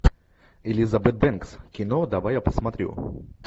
элизабет бэнкс кино давай я посмотрю